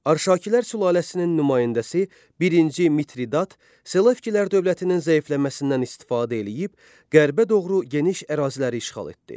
Arşakilər sülaləsinin nümayəndəsi birinci Mitridat Selevkilər dövlətinin zəifləməsindən istifadə eləyib qərbə doğru geniş əraziləri işğal etdi.